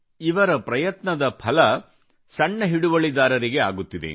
ಇವರ ಪ್ರಯತ್ನದ ಫಲ ಸಣ್ಣ ಹಿಡುವಳಿದಾರರಿಗೆ ಆಗುತ್ತಿದೆ